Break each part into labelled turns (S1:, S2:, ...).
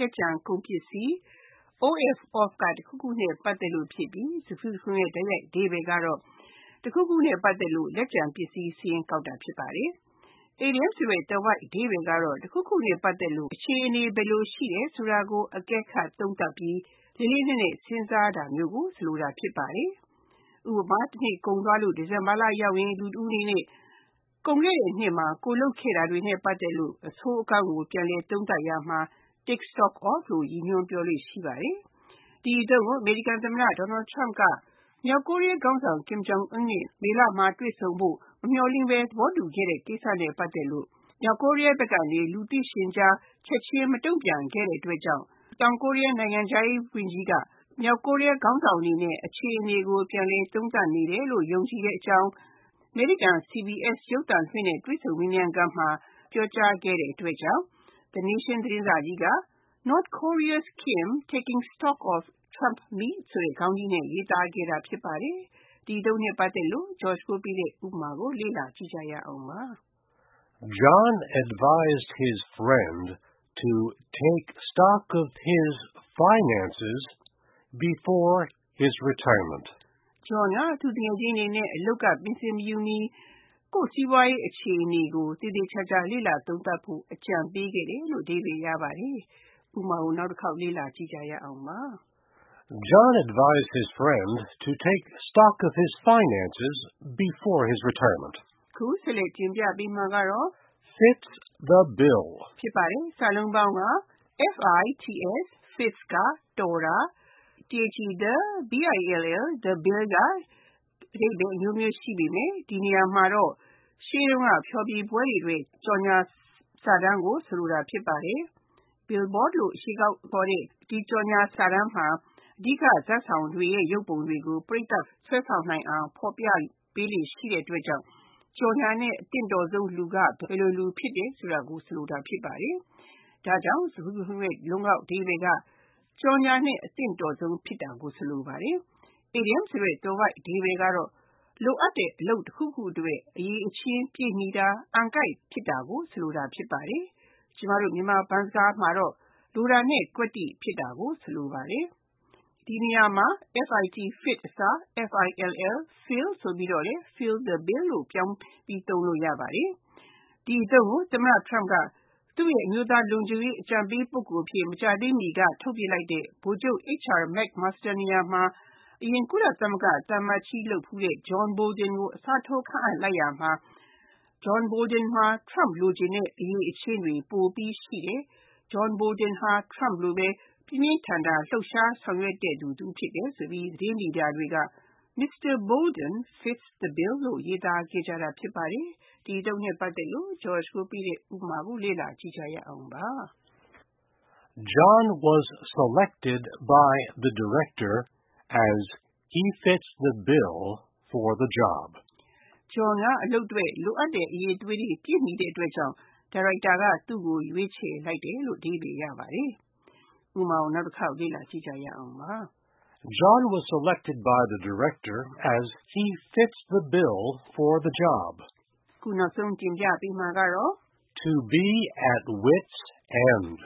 S1: လက်ကျန်ကုန်ပစ္စည်း)၊ of (တခုခုနဲ့ ပတ်သက်လို့) ဖြစ်ပြီး စကားစုတခုလုံးရဲ့ တိုက်ရိုက်အဓိပ္ပါယ်က တခုခုနဲ့ ပတ်သက်လို့ လက်ကျန်ပစ္စည်းစာရင်း ကောက်တာ ဖြစ်ပါတယ်။ အီဒီယံသွယ်ဝိုက်အဓိပ္ပါယ်က တခုခုနဲ့ ပတ်သက်လို့ အခြေအနေ ဘယ်လိုရှိတယ်ဆိုတာကို အကဲခတ်သုံးသပ်ပြီး၊ လေးလေးနက်နက် စဉ်းစားတာမျိုးကို ဆိုလိုတာ ဖြစ်ပါတယ်။ ဥပမာ တနှစ်ကုန်သွားလို့ ဒီဇင်ဘာလရောက်ရင် လူတဦးအနေနဲ့ ကုန်ခဲ့တဲ့နှစ်မှာ ကိုယ်လုပ်ခဲ့တာတွေနဲ့ ပတ်သက်လို့ အဆိုးအကောင်းကို ပြန်လည်သုံးသပ်ရာမှာ Take stock of လို့ ရည်ညွှန်းပြောလေ့ရှိပါတယ်။ ဒီအသုံးကို အမေရိကန်သမ္မတ Donald Trump က မြောက်ကိုရီးယားခေါင်းဆောင် Kim Jong Un နဲ့ မေလမှာ တွေ့ဆုံဖို့ မမျှော်လင့်ဘဲ သဘောတူခဲ့တဲ့ ကိစ္စနဲ့ ပတ်သက်လို့ မြောက်ကိုရီးယားဘက်ကနေ လူသိရှင်ကြား၊ ချက်ချင်းမတုံ့ပြန်ခဲ့တဲ့အတွက်ကြောင့် တောင်ကိုရီးယားနိုင်ငံခြားရေး ဝန်ကြီးက မြောက်ကိုရီးယားခေါင်းဆောင်အနေနဲ့ အခြေအနေကို ပြန်လည်သုံးသပ်နေတယ်လို့ သူယူဆတဲ့အကြောင်း အမေရိကန်ရုပ်သံ CBS နဲ့ တွေ့ဆုံမေးမြန်းခန်းမှာ ပြောကြားခဲ့တဲ့အတွက် The Nation သတင်းစာကြီးက North Korea's Kim 'taking stock' of Trump meet ခေါင်းကြီးနဲ့ ရေးသားခဲ့တာ ဖြစ်ပါတယ်။ ဒီ အသုံးနဲ့ပတ်သက်လို့ ဥပမာကို လေ့လာကြည့်ကြရအောင်ပါ
S2: ။ John advised his friend to take stock of his finances before his retirement.
S1: John က သူ့သူငယ်ချင်းအနေနဲ့ အလုပ်က ပင်စင်မယူခင်၊ ကိုယ့်စီးပွားရေးအခြေအနေကို သေသေချာချာ လေ့လာသုံးသပ်ဖို့ အကြံပေးခဲ့တယ်
S2: ။ (2) Fits
S1: the bill Fits (တော်တာ)၊ the bill က အဓိပ္ပါယ်အမျိုးမျိုး ရှိပေမယ့် ဒီနေရာမှာရှေးတုန်းက ဖျော်ဖြေပွဲတွေအတွက် ကြော်ငြာစာတမ်းကို ဆိုလိုတာ ဖြစ်ပါတယ်။ Billboard လို့ခေါ်တဲ့ ဒီကြော်ငြာစာတမ်းမှာအဓိကဇာတ်ဆောင်တွေရဲ့ ရုပ်ပုံတွေကို ပရိသတ်ဆွဲဆောင်နိုင်အောင် ဖော်ပြပေးလေ့ရှိတဲ့အတွက်ကြောင့် ကြော်ငြာနဲ့ အသင့်တော်ဆုံးလူက ဘယ်လိုလူ ဖြစ်တယ်ဆိုတာကို ဆိုလိုတာ ဖြစ်ပါတယ်။ ဒါကြောင့် စကားစုတခုလုံးရဲ့ လုံးကောက်အဓိပ္ပါယ်က ကြော်ငြာနဲ့ အသင့်တော်ဆုံး ဖြစ်တာကို ဆိုလိုပါတယ်။ အီဒီယံသွယ်ဝိုက်အဓိပ္ပါယ်က အလုပ်တခုခုအတွက်လိုအပ်တဲ့အရည်အချင်းပြည့်မီတာ၊ အံကိုက်ဖြစ်တာကို ဆိုလိုတာဖြစ်ပါတယ်။ ကျမတို့ မြန်မာဘန်းစကားမှာ လိုတာနဲ့ကွက်တိဖြစ်တာကို ဆိုလိုပါတယ်။ ဒီနေရာမှာ Fits အစား Fills ဆိုပြီးတော့ Fills the bill လို့ ပြောင်းပြီး သုံးလို့ရပါတယ်။ ဒီအသုံးကို သမ္မတ Trump က သူ့ရဲ့ လုံခြုံရေးအကြံပေး ပုဂ္ဂိုလ်အဖြစ် မကြာသေးမီက ထုတ်ပစ်လိုက်တဲ့ ဗိုလ်ချုပ် H.R. McMaster နေရာမှာ အရင် ကုလသမဂ္ဂသံအမတ်ကြီး လုပ်ခဲ့တဲ့ John Bolton ကို အစားထိုးခန့်အပ်လိုက်ရာမှာ John Bolton မှာ Trump လိုချင်တဲ့ အရည်အချင်းတွေ ပိုပြီးရှိတယ်၊ Bolton ဟာ Trump လိုပဲ ခပ်ကြမ်းကြမ်းလှုပ်ရှားဆောင်ရွက်တတ်သူဖြစ်တယ်ဆိုပြီး၊ သတင်းမီဒီယာတွေမှာ Mr. Bolton fits the bill လို့ ရေးသားခဲ့ကြတာ ဖြစ်ပါတယ်။ ဒီ အသုံးနဲ့ပတ်သက်လို့ ဥပမာကို လေ့လာကြည့်ကြရအောင်ပါ
S2: ။ John is likely to be selected by the Director as he fits the bill for the job.
S1: John က အလုပ်အတွက် လိုအပ်တဲ့ အရည်အချင်းတွေ ပြည့်မီတဲ့အတွက်ကြောင့် ဒါရိုက်တာက သူ့ကို ရွေးချယ်ဖို့များတယ်။ (3) To
S2: be at wits end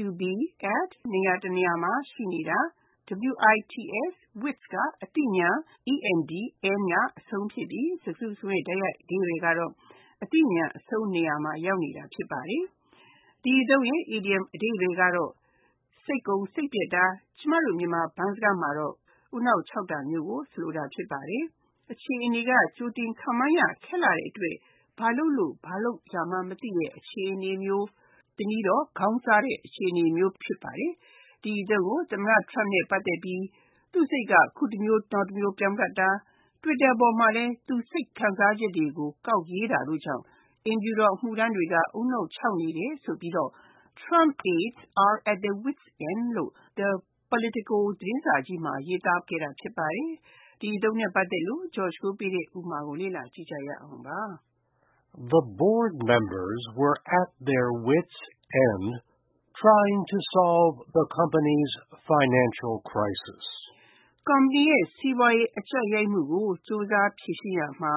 S1: To be at (နေရာတနေရာမှာ ရှိနေတာ)၊ wits (အသိဉာဏ်)၊ end (အဆုံး) ဖြစ်ပြီး စကားတခုလုံးရဲ့ တိုက်ရိုက်အဓိပ္ပါယ်က အသိဉာဏ် အဆုံးနေရာမှာ ရောက်နေတာ ဖြစ်ပါတယ်။ ဒီအသုံးရဲ့ အီဒီယံအဓိပ္ပါယ်က စိတ်ကုန်စိတ်ပျက်တာ၊ ကျမတို့ မြန်မာဘန်းစကားမှာ ဦးနှောက်ခြောက်တာမျိုးကို ဆိုလိုတာ ဖြစ်ပါတယ်။ အခြေအနေက ကြိုတင်ခန့်မှန်းရခက်လှတဲ့အတွက် ဘာလုပ်လို့၊ ဘာကိုင်ရမှန်းမသိတဲ့ အခြေအနေမျိုး၊ တနည်းတော့ ခေါင်းစားတဲ့ အခြေအနေမျိုး ဖြစ်ပါတယ်။ ဒီအသုံးကို သမ္မတ Trump နဲ့ ပတ်သက်ပြီး သူ့စိတ်က အခုတမျိုး၊ တော်ကြာတမျိုး ပြောင်းတတ်သလို၊ Twitter ပေါ်မှာလည်း သူ့စိတ်ခံစားချက်တွေကို ကောက်ရေးတာကြောင့် အိမ်ဖြူတော်အမှုထမ်းတွေက ဦးနှောက်ခြောက်နေတယ်ဆိုပြီး၊ Trump aides are 'at their wits' end' လို့ The Politico သတင်းစာကြီးကခေါင်းကြီးမှာ ရေးသားခဲ့တာ ဖြစ်ပါတယ်။ ဒီအသုံးနဲ့ပတ်သက်တဲ့ ဥပမာကို လေ့လာကြည့်ရအောင်ပါ
S2: ။ The board members were at their wits end trying to solve the ကုမ္ပဏ
S1: ီရဲ့ စီးပွားရေးပြသနာတွေကို ကြိုးစားဖြေရှင်းရာမှာ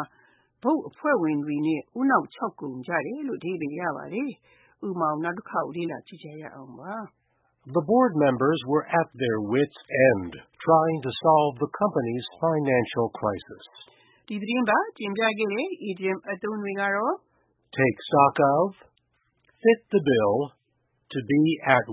S1: ဘုတ်အဖွဲ့ဝင်တွေ ဦးနှောက်ခြောက်ကုန်ကြတယ်။ ဒ
S2: ီ
S1: သတင်းပတ် တင်ပြခဲ့တဲ့ idioms အသုံးတွေက
S2: Take stock of, Fits the bill နဲ့ To be at